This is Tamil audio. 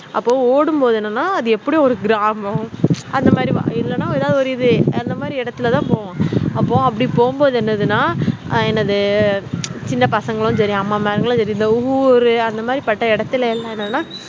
அப்போ ஓடும் போது என்னனா அது எப்புடி ஒரு கிராமம் அதா மாதிரி இல்லன எதாவதுஒரு இது அந்த மாதிரி இடத்துலதான் அப்போ அப்டி போகும் போது என்னதுனா என்னது சின்ன பசங்க தெரியாம ஊரு அந்த மாதிரி இடத்துல எல்லாம் என்னனா